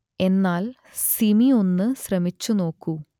എന്നാൽ സിമി ഒന്നു ശ്രമിച്ചു നോക്കൂ